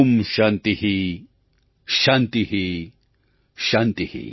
शान्ति शान्ति ||